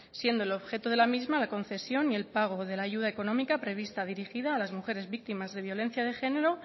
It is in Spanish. siendo el objeto de la misma la concesión y el pago de la ayuda económica prevista dirigida a las mujeres víctimas de violencia de género